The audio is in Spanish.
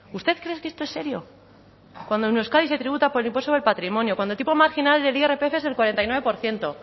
usted cree que esto es serio cuando en euskadi se tributa por el impuesto sobre el patrimonio cuando el tipo marginal del irpf es del cuarenta y nueve por ciento